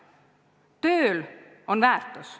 Tööl on väärtus.